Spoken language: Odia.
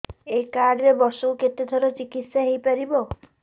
ଏଇ କାର୍ଡ ରେ ବର୍ଷକୁ କେତେ ଥର ଚିକିତ୍ସା ହେଇପାରିବ